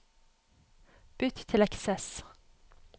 Bytt til Access